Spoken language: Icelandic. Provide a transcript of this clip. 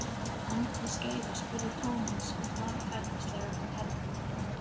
Á milli skeiða spurði Thomas hann varfærnislega um hernámið.